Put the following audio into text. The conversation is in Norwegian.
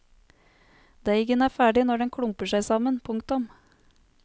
Deigen er ferdig når den klumper seg sammen. punktum